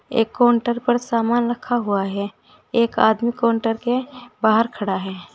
एक काउंटर पर सामान रखा हुआ है एक आदमी काउंटर के बाहर खड़ा है।